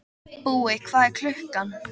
Búi, hvað er klukkan?